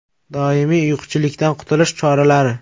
Doimiy uyquchanlikdan qutulish choralari.